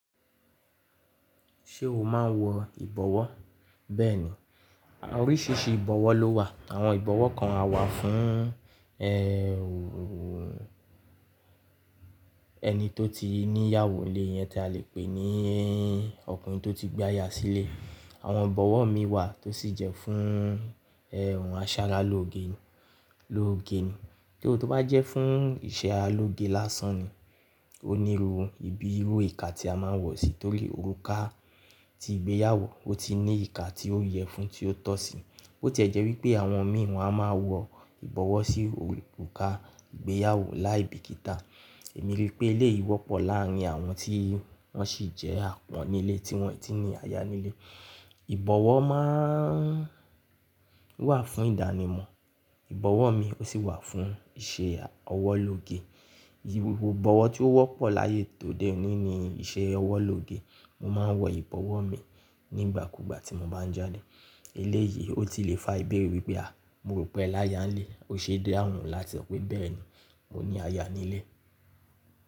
Ṣé o máa ń wọ ìbọwọ́? Bẹ́ẹ̀ni. Oríṣiríṣi ìbọwọ́ ló wà. Àwọn ìbọwọ́ kan à wà fún ẹni tó ti níyàwó nlé, iyẹn tí a lè pè ní ọkùnrin tó ti gbé aya sílé. Àwọn ìbọwọ́ mii wà tó sì jẹ́ fún aṣaralóge ni, lóge ni. Tori tó bá jẹ́ fún iṣẹ́ ara aloge lásán ni. O níru ibi irú ìka tí a máa ń wọ̀ sí torí òrùka ti ìgbéyàwó ó ti ní ìka tí ó yẹ fún tí ó tọ́ sí. Bo ti e jẹ́ wipé àwọn mìí won a máa wọ ìbọwọ́ sí òrùka ìgbéyàwó láì bíkìtà. Èmi ríi pé eléyìí wọ́pọ̀ láárín àwọn tí wọ́n sì jẹ́ àpọn nílé tí wọ́n e ti ní aya nílé. Ìbọwọ́ máa ń wà fún ìdánimọ̀. Ìbọwọ́ mi ó sì wà fún iṣẹ́ ọwọ́ lóge. Ìbọwọ́ tí ó wọ́pọ̀ láyé tòde òní ni iṣẹ́ ọwọ́ lóge. Mo máa ń wọ ìbọwọ́ mi nígbàkúugbà tí mo bá ń jáde. Eléyìí ó ti le fa ìbéèrè wípé à mo rò pé ẹ láyá ń lé. Ó ṣe dáhùn láti sọ pé bẹ́ẹ̀ni mo ní aya nílé.